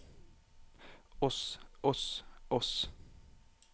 oss oss oss